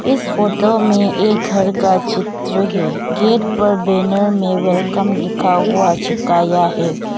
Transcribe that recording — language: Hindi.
इस फोटो में एक घर का चित्र है गेट पर बैनर में वेलकम लिखा हुआ चिपकाया है।